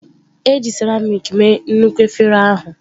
E ji seramiiki mee nnukwu efere ahụ.